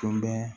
Tun bɛ